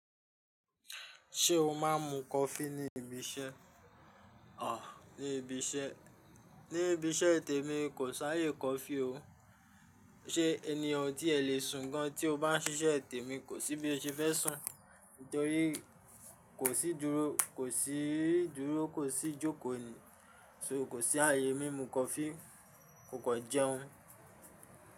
Ṣé o má a ń mu kofi ní ibi iṣẹ́? À, ní ibi iṣẹ́, ní ibi iṣẹ́ tèmi kò sáyé kofi o. Ṣé ẹniyan o tí ẹ lè sùn gan tí o bá ń ṣiṣẹ́ tèmi kò síbi o ṣe fẹ́ sùn, nítorí kò sí dúró, kò sí dúró kò sí jókòó ni, ṣo kò sí ayé mí mu kofi kò kan jẹun.